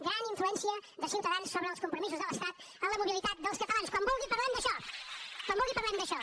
gran influència de ciutadans sobre els compromisos de l’estat en la mobilitat dels catalans quan vulgui parlem d’això quan vulgui parlem d’això